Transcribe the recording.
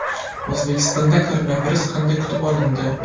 O‘zbekistonda koronavirus qanday kutib olindi?